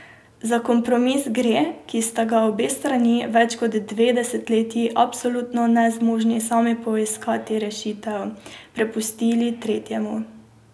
Za kompromis gre, ki sta ga obe strani, več kot dve desetletji absolutno nezmožni sami poiskati rešitev, prepustili tretjemu.